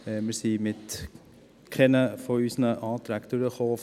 Wir kamen mit keinem unserer Anträge durch.